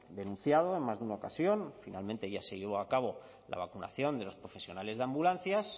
denunciado en más de una ocasión finalmente ya se llevó a cabo la vacunación de los profesionales de ambulancias